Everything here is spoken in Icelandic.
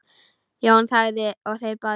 Jón þagði og þeir báðir.